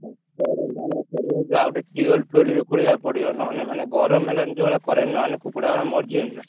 ହୁଁ current ଆଣିଆକୁ ପଡିବ ଆଉ ଗୋଟେ tubewell ଫିଓଲ ବି ଖୋଳିଆକୁ ପଡିବ ନହେଲେ ମାନେ ଗରମ ହେଲାଣି ଯୋଉ ଭଳିଆ current ନହେଲେ କୁକୁଡ଼ାଗୁଡା ମରିଯିବେନି ନା।